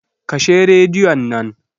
Kashe radion nan.